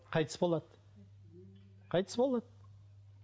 қайтыс болады қайтыс болады